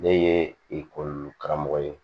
Ne ye ekɔli karamɔgɔ ye